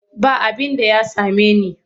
Ba abinda ya same ni.